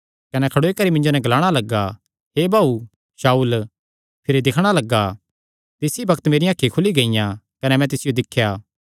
कने खड़ोई करी मिन्जो नैं ग्लाणा लग्गा हे भाऊ शाऊल भिरी दिक्खणा लग्ग तिस ई बग्त मेरियां अखीं खुली गियां कने मैं तिसियो दिख्या